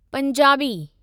Punjabi